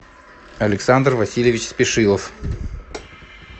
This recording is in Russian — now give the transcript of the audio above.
александр васильевич спешилов